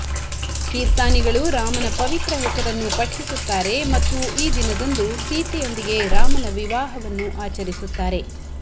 ಕೀರ್ತಾನಿಗಳು ರಾಮನ ಪವಿತ್ರ ಹೆಸರನ್ನು ಪಠಿಸುತ್ತಾರೆ ಮತ್ತು ಈ ದಿನದಂದು ಸೀತೆಯೊಂದಿಗೆ ರಾಮನ ವಿವಾಹವನ್ನು ಆಚರಿಸುತ್ತಾರೆ